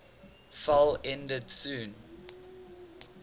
fell ended soon